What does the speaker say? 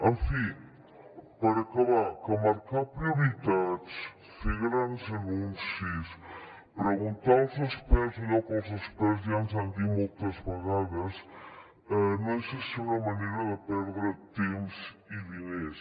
en fi per acabar que marcar prioritats fer grans anuncis preguntar als experts allò que els experts ja ens han dit moltes vegades no deixa de ser una manera de perdre temps i diners